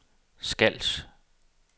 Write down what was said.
Skals